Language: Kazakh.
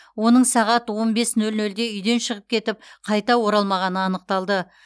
оның сағат он бес нөл нөлде үйден шығып кетіп қайта оралмағаны анықталды